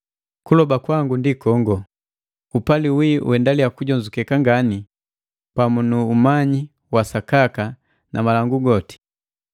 Kuloba kwangu ndi kongo, upali wii uendaliya kujonzukeka ngani pamu nu umanyi wa sakaka na malangu goti,